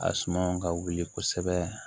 A suma ka wuli kosɛbɛ